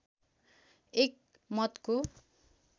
एक मतको